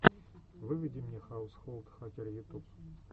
выведи мне хаусхолд хакер ютуб